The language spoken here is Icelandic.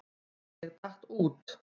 Ég datt út.